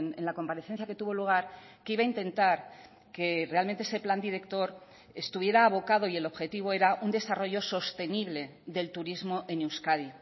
en la comparecencia que tuvo lugar que iba a intentar que realmente ese plan director estuviera abocado y el objetivo era un desarrollo sostenible del turismo en euskadi